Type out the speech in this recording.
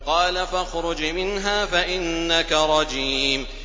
قَالَ فَاخْرُجْ مِنْهَا فَإِنَّكَ رَجِيمٌ